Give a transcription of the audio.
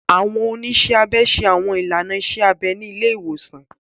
Àwọn oniṣẹ abẹ ṣe Àwọn ilàná iṣẹ abẹ ni àwọn ile iwosan.